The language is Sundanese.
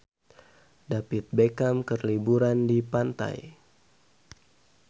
David Beckham keur liburan di pantai